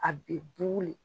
A bɛ buuuu le. i